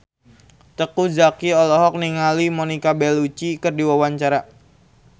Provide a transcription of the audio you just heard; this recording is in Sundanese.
Teuku Zacky olohok ningali Monica Belluci keur diwawancara